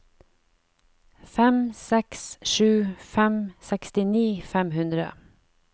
fem seks sju fem sekstini fem hundre